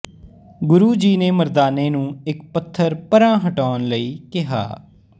ਗੁਰੂ ਜੀ ਨੇ ਮਰਦਾਨੇ ਨੂੰ ਇੱਕ ਪੱਥਰ ਪਰਾਂ ਹਟਾਉਣ ਲਈ ਕਿਹਾ